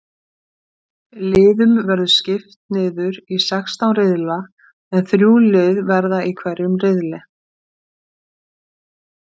Liðum verður skipt niður í sextán riðla en þrjú lið verða í hverjum riðli.